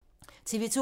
TV 2